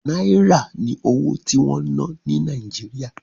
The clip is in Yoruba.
Náírà ni owó tí wọ́n ń ná ní Nàíjíríà.